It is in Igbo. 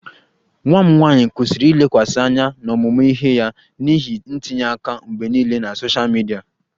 Nwa m nwanyị kwụsịrị ilekwasị anya n'ọmụmụ ihe ya n'ihi ntinye aka mgbe niile na sosha midia